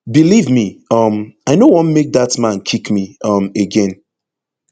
believe me um i no want make dat man kick me um again